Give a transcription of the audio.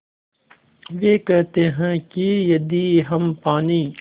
वे कहते हैं कि यदि हम पानी